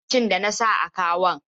Ina abincin da na sa a kawon?